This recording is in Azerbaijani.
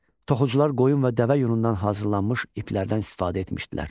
Toxucular qoyun və dəvə yunundan hazırlanmış iplərdən istifadə etmişdilər.